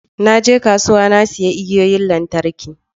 Na je kasuwa na sayi igiyoyin lantarki